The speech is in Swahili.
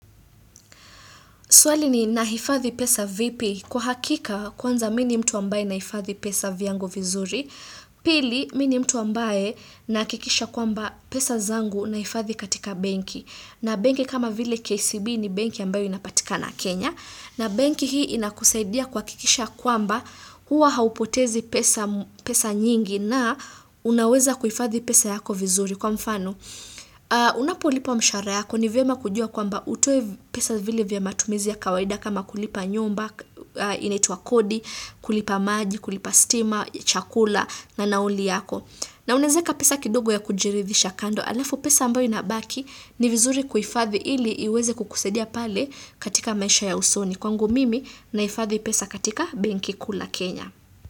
Swali ni nahifathi pesa vipi. Kwa hakika, kwanza mini mtu ambaye naifathi pesa vyangu vizuri. Pili, mini mtu ambaye nahakikisha kwamba pesa zangu naifathi katika banki. Na banki kama vile KCB ni banki ambayo inapatika na Kenya. Na banki hii inakusaidia kuakikisha kwamba huwa haupotezi pesa nyingi na unaweza kuhifathi pesa yako vizuri. Kwa mfano, unapolipwa mshahara yako ni vyema kujua kwa mba utoe pesa vile vya ma tumizi ya kawaida kama kulipa nyumba, inaitwa kodi, kulipa maji, kulipa stima, chakula, na nauli yako. Na unezeka pesa kidogo ya kujirithisha kando, alafu pesa ambayo inabaki ni vizuri kuifadhi ili iweze kukusaidia pale katika maisha ya usoni. Kwangu mimi naifadhi pesa katika benki kuu la Kenya.